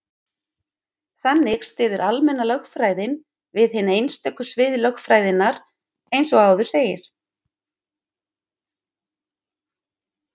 Þannig styður almenna lögfræðin við hin einstöku svið lögfræðinnar, eins og áður segir.